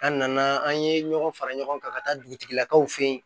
An nana an ye ɲɔgɔn fara ɲɔgɔn kan ka taa dugutigilakaw fɛ yen